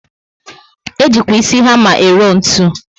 Ejikwa ísì hama ero ntụ